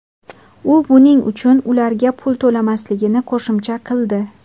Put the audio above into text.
U buning uchun ularga pul to‘lamasligini qo‘shimcha qildi.